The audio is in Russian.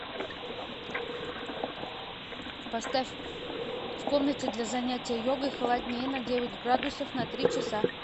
поставь в комнате для занятия йогой холоднее на девять градусов на три часа